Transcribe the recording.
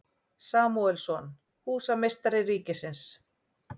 Samúelsson, húsameistari ríkisins.